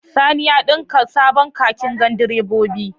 Sani ya ɗinka sabon kakin gandiroba